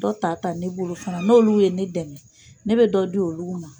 Dɔ ta ta ne bolo fana no olu ye ne dɛmɛ ne bɛ dɔ di olugu ma.